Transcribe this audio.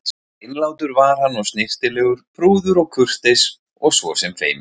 Hreinlátur var hann og snyrtilegur, prúður og kurteis og svo sem feiminn.